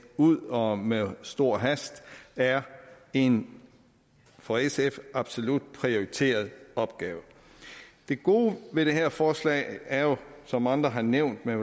ud og med stor hast er en for sf absolut prioriteret opgave det gode ved det her forslag er jo som andre har nævnt men